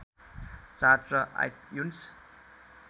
chart र iTunes